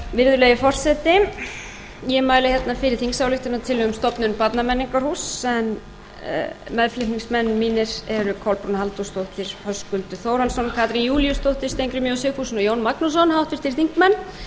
virðulegi forseti ég mæli hérna fyrir þingsályktunartillögu um stofnun barnamenningarhúss en meðflutningsmenn mínir eru kolbrún halldórsdóttir höskuldur þórhallsson katrín júlíusdóttir steingrímur j sigfússon og jón magnússon háttvirtir þingmenn